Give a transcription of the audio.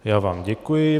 Já vám děkuji.